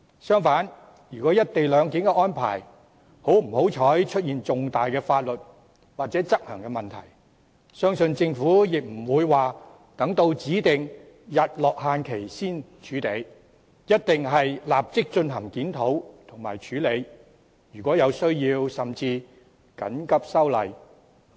相反，如果"一地兩檢"安排不幸出現重大的法律或執行問題，相信政府亦不會待指定的"日落"期限才處理，一定會立即進行檢討和處理，而如果有需要，甚至會緊急修例。